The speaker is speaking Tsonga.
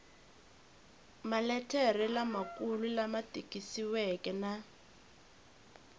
maletere lamakulu lama tikisiweke na